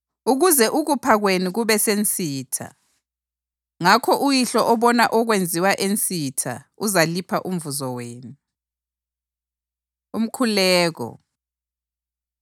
ukuze ukupha kwenu kube sensitha. Ngakho uYihlo obona okwenziwa ensitha uzalipha umvuzo wenu.” Umkhuleko